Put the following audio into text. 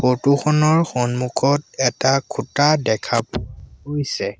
Photo খনৰ সন্মুখত এটা খুঁটা দেখা পোৱা গৈছে।